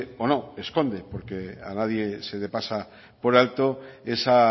o no esconde porque a nadie se le pasa por alto esa